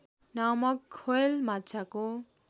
नामक हृवेल माछाको